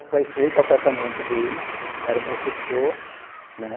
Aí fui para o apartamento dele, era um professor, né?